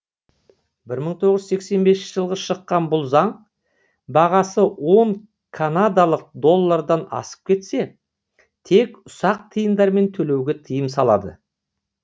бір мың тоғыз жүз сексен бесінші жылғы шыққан бұл заң бағасы он канадалық доллардан асып кетсе тек ұсақ тиындармен төлеуге тыйым салады